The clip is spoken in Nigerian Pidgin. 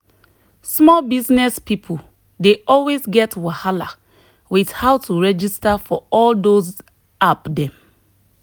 small business people dey always get wahala with how to registar for all those app dem.